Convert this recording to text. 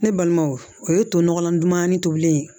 Ne balimaw o ye to nɔgɔlan dumanin tobilen ye